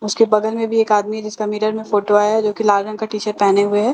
उसके बगल में भी एक आदमी है जिसका मिरर में फोटो आया है जो कि लाल रंग का टी-शर्ट पहने हुए है।